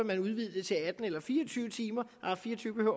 vil udvide det til atten eller fire og tyve timer nej fire og tyve